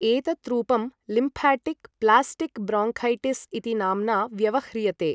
एतत् रूपं lymphatic plastic bronchitis इति नाम्ना व्यवह्रियते।